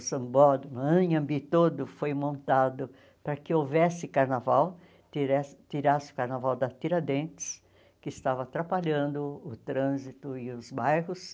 O sambódromo, o Anhembi todo foi montado para que houvesse carnaval, tiresse tirasse o carnaval da Tiradentes, que estava atrapalhando o trânsito e os bairros.